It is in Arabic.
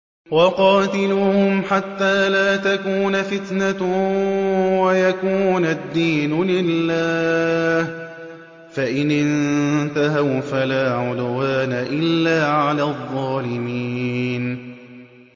وَقَاتِلُوهُمْ حَتَّىٰ لَا تَكُونَ فِتْنَةٌ وَيَكُونَ الدِّينُ لِلَّهِ ۖ فَإِنِ انتَهَوْا فَلَا عُدْوَانَ إِلَّا عَلَى الظَّالِمِينَ